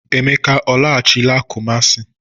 Emeka ọ lagachịla Kụmasị?